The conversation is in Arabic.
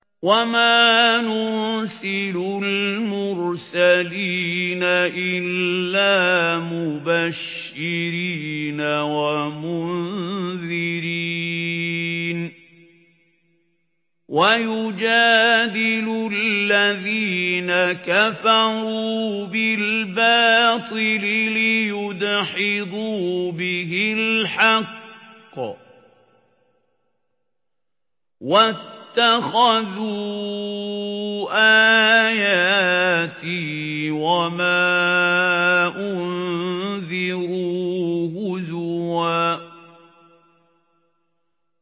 وَمَا نُرْسِلُ الْمُرْسَلِينَ إِلَّا مُبَشِّرِينَ وَمُنذِرِينَ ۚ وَيُجَادِلُ الَّذِينَ كَفَرُوا بِالْبَاطِلِ لِيُدْحِضُوا بِهِ الْحَقَّ ۖ وَاتَّخَذُوا آيَاتِي وَمَا أُنذِرُوا هُزُوًا